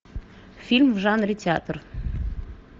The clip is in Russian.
фильм в жанре театр